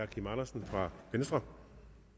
kim andersen for venstre